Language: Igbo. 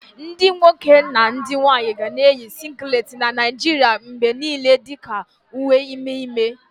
Ndị nwoke na ndị nwanyị ga na-eyi singileti na Naijiria mgbe niile dị ka uwe ime ime.